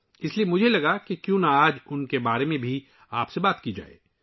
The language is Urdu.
اس لیے میں نے سوچا کیوں نہ آج ان کے بارے میں بھی بات کروں